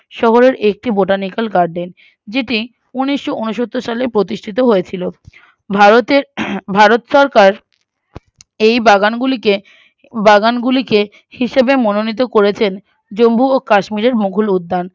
শহরের একটি Botanical garder যেটি উনিশোউনসত্তর সালে প্রতিষ্ঠিত হয়েছিল উহ ভারতের আহ ভারত সরকার এই বাগানগুলিকে বাগানগুলোকে হিসেবে মনোনীত করেছেন জম্মু ও কাশ্মীরের মুগল উদ্যান